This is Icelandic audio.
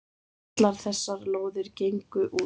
Allar þessar lóðir gengu út.